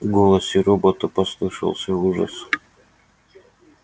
в голосе робота послышался ужас